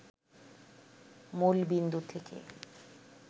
মূলবিন্দু থেকে